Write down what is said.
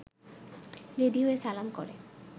ready হয়ে সালাম করে